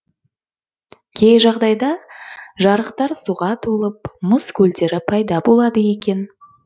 кей жағдайда жарықтар суға толып мұз көлдері пайда болады екен